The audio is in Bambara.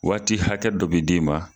Waati hakɛ dɔ be d'i ma